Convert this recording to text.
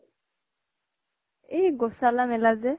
এই গোচালা মেলা যে